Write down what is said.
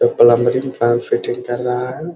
जो plumbing pump fitting कर रहा है।